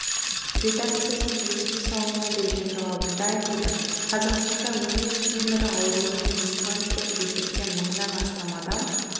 редакциясының ресми сауалына берген жауабында айтылды қазақстанда өңеш темірі ауруымен диспансерлік есепте мыңнан астам адам